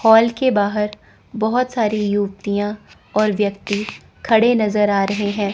Hall के बाहर बहोत सारी युवतियां और व्यक्ति खड़े नजर आ रहे है।